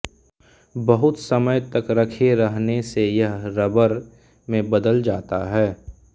बहुत समय तक रखे रहने से यह रबर में बदल जाता है